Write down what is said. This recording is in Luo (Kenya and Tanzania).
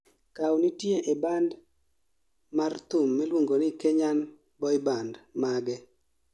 Kaw nitie e band mar thum miluongo ni 'Kenyan boyband' mage